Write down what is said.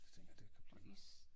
Det tænker jeg det kan blive